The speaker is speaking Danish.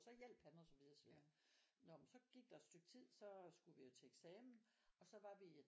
Og så hjalp han og så videre og så videre nå men så gik der et stykke tid så skulle vi jo til eksamen og så var vi